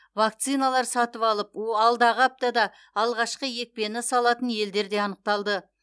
вакциналар сатып алып о алдағы аптада алғашқы екпені салатын елдер де анықталды